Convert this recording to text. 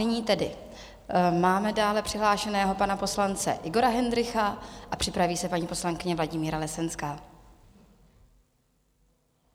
Nyní tedy máme dále přihlášeného pana poslance Igora Hendrycha a připraví se paní poslankyně Vladimíra Lesenská.